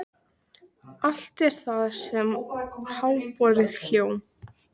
Allt er það sem háborið hjóm.